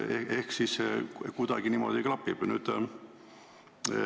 Ehk siis asjad kuidagi niimoodi klapivad.